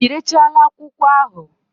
Irechala akwụkwọ ahụ?